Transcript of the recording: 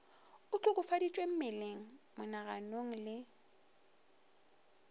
o hlokofaditšwe mmeleng monaganong le